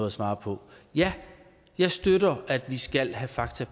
at svare på ja jeg støtter at vi skal have fakta